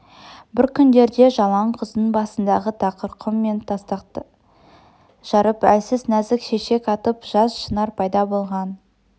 бір күндерде жалаң құздың басындағы тақыр құм мен тастақты жарып әлсіз нәзік шешек атып жас шынар пайда болған